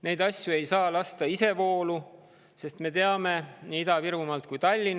Neil asjadel ei saa lasta isevoolu.